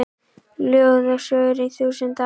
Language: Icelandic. Ljóð og sögur í þúsund ár